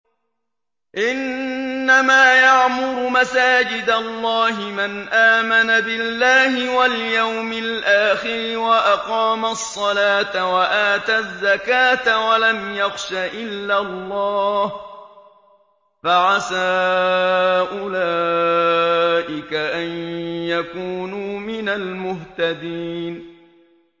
إِنَّمَا يَعْمُرُ مَسَاجِدَ اللَّهِ مَنْ آمَنَ بِاللَّهِ وَالْيَوْمِ الْآخِرِ وَأَقَامَ الصَّلَاةَ وَآتَى الزَّكَاةَ وَلَمْ يَخْشَ إِلَّا اللَّهَ ۖ فَعَسَىٰ أُولَٰئِكَ أَن يَكُونُوا مِنَ الْمُهْتَدِينَ